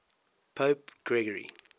pope gregory